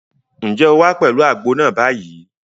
Ǹjẹ́ o wá pẹ̀lú àgbo náà báyìí?